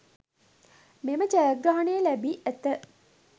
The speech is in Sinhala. මෙම ජයග්‍රහණය ලැබී ඇත